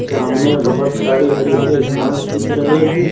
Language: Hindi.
चामने बहुत सारे हरी भरी घास दिख रहे हैं।